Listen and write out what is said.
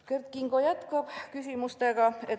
Kert Kingo jätkas küsimusi.